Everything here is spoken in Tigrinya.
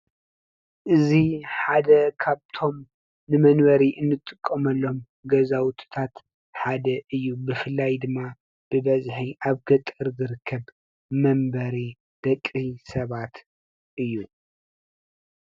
እዚሓደ ካብቶም ንመንበሪ እንጥቀመሎም ገዛውቲታት ሓደ እዩ። ብፍላይ ድማ ብበዝሒ ኣብ ገጠር ዝርከብ መንበሪ ደቂ ሰባት እዩ።